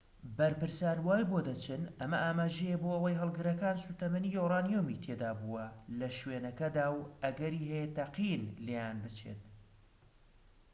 بەرپرسان وای بۆ دەچن ئەمە ئاماژەیە بۆ ئەوەی هەڵگرەکان سوتەمەنی یۆرانیۆمی تێدابووە لە شوێنەکەدا و ئەگەری هەیە تەقیبن و لێیان بچێت